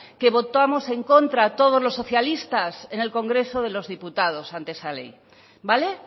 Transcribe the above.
que votamos en contra todos los socialistas en el congreso de los diputados ante esa ley vale